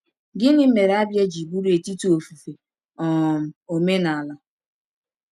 Gịnị mere Abia ji bụrụ etiti ofufe um omenala?